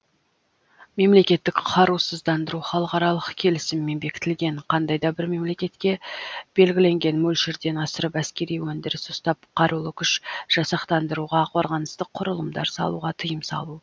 мемлекетті қарусыздандыру халықаралық келісіммен бекітілген қандай да бір мемлекетке белгіленген мөлшерден асырып әскери әндіріс ұстап қарулы күш жасақтандыруға қорғаныстық құрылымдар салуға тыйым салу